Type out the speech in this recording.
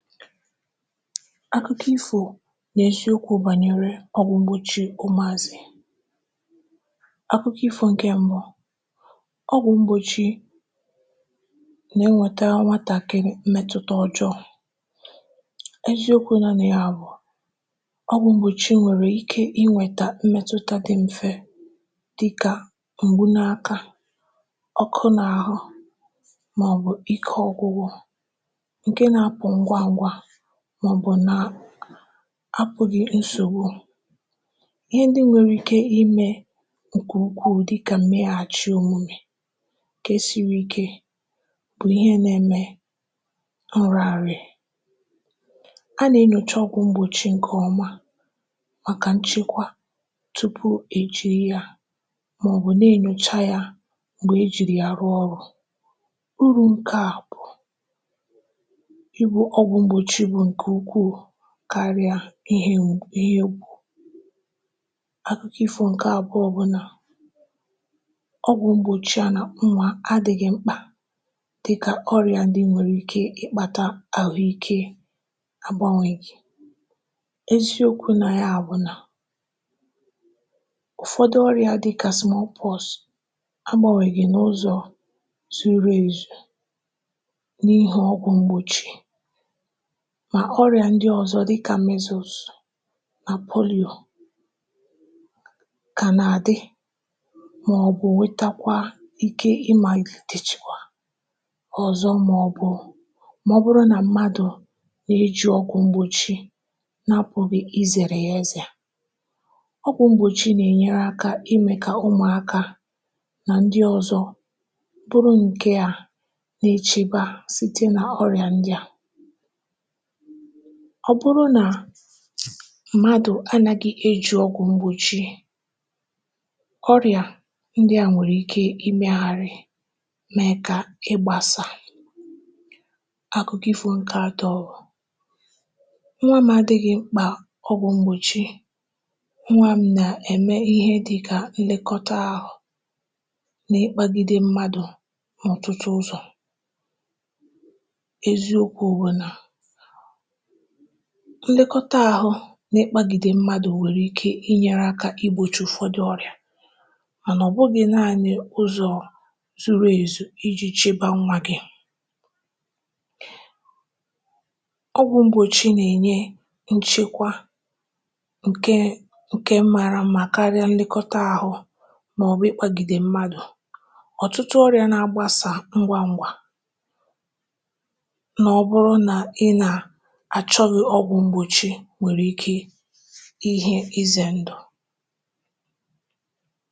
Akụkọ ifo nà-eziokwu̇ bànyere ọgwụ̀ mgbochi umuazi. Akụkọ ifu̇ ǹkè mbụ, ọgwụ̀ mgbochi nà-enwetara nwàtàkị m̀mẹtụta ọjọọ. Eziokwu no nà ya bụ ọgwụ mgbochi nwèrè ike inwėtà m̀mẹtụta dị mfe dịkà m̀gbu n’aka, ọkọ n’àhụ màọbụ̀, ike ọgwụgwụ nke na-apụ ngwa ngwa maọbụ na àpụghị̀ nsògbu. Ihe ndị nwere ike imė ǹkè ukwu dịkà meghàchị òmume nke siri ike bụ̀ ihe nȧ-ẹmẹ nrianria, a nà-enyocha ọgwụ̀ mgbochi ǹkẹ̀ ọma màkà nchekwa tupu ejiri ya màọbụ̀ na-enyocha ya m̀gbè ejiri ya rụọ ọrụ̇. Uru ǹkẹ̀ bụ̀ ibu ọgwụ mgbochi bụ nke ihe ukwu karịa ihe mgbụ̀ ihe gbùo. Akụkọ ịfụ̇ ǹkè abụọ bụ̀ nà ọgwụ̀ mgbochi a nà agba nwàka adị̇ghị̇ mkpà dịkà ọrịa ndị nwèrè ike ịkpȧtà àhụike agbȧnwègị, eziokwu̇ nà ya àbụnà ụfọdụ ọrịa dịkà small pox agbȧnwègị n’ụzọ̀ zuru ezù n’ihi ọgwụ̀ mgbochi mà ọrịà ndị ọ̀zọ̀ dịkȧ mmezous nà poliò kànàdị màọbụ̀ wetakwa ike ị màlìtèchikwà ọ̀zọ màọbụ̀ màọbụrụ nà mmadụ̀ nà-eji ọgwụ mgbochi nà apụghi̇ izèrè ya éze, ogwụ mgbochi nà-enyere akȧ imè kà ụmụ̀akȧ nà ndị ọzọ̇ bụrụ nke à nà-echegbà site nà ọrịà ndị à, ọ bụrụ nà mmadụ̀ anàghị eji ọgwụ̀ mgbochi, ọrịa ndị à nwèrè ike imeghàrị̀ mee kà ịgbȧsà. Àkụkọ ifo nkà àtọ, nwa m̀ adị̇ghị̇ mkpà ọgwụ̀ mgbochi nwa m nà-ème ihe dịkà nlekọta ahụ̀ na-ekpagide mmadụ̀ n’otụtu ụzọ̀, eziokwu bụ na nlèkọta àhụ nà-ekpagìdè mmadụ̀ nwèrè ike inyere aka igbòchi ụfọdụ ọrịa mà nà ọ bụgị naanị ụzọ zuru ezu iji chịbȧ nwa gi̇. Ogwụ̇ mgbòchi nà-enye nchekwa ǹke ǹke mȧrȧ mmà karịa nlèkọta àhụ màọbụ̀ ekpagìdè mmadụ̀, ọ̀tụtụ ọrịa nà-agbasa ngwa ngwa na ọbụrụ na ịṅa-achọghị ọgwụ mgbochi nwèrè ike ihe ize ǹdụ̀.